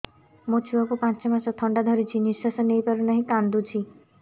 ମୋ ଛୁଆକୁ ପାଞ୍ଚ ମାସ ଥଣ୍ଡା ଧରିଛି ନିଶ୍ୱାସ ନେଇ ପାରୁ ନାହିଁ କାଂଦୁଛି